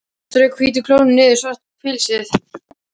Strauk hvítum klónum niður svart pilsið.